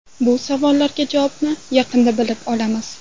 Bu savollarga javobni yaqinda bilib olamiz.